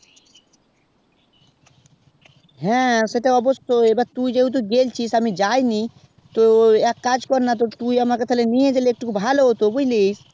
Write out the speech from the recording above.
হ্যাঁ সেটা অবশই তুই যেহুতু গিয়েছিস আমি যাই নি তো এক কাজ কর না তো তুই আমাকে নিয়ে গেলে বুঝলি